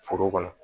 Foro kɔnɔ